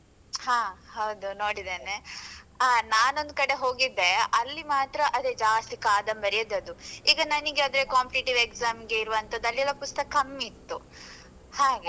ಹಾ ಹೌದು ನೋಡಿದ್ದೇನೆ. ಹಾ ನಾನೊಂದು ಕಡೆ ಹೋಗಿದ್ದೆ ಅಲ್ಲಿ ಮಾತ್ರ ಅದೇ ಜಾಸ್ತಿ ಕಾದಂಬರಿಯೇ ಇದ್ದದ್ದು. ಈಗ ನನ್ಗೆ ಅದೇ competitive exam ಗೆ ಇರುವಂತದು ಅಲ್ಲಿ ಎಲ್ಲ ಪುಸ್ತಕ ಕಮ್ಮಿ ಇತ್ತು ಹಾಗೆ.